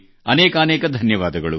ಅನೇಕಾನೇಕ ಧನ್ಯವಾದಗಳು